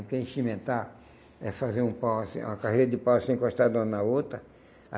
Porque enchimentar é fazer um pau assim uma carreira de pau, assim, encostado uma na outra.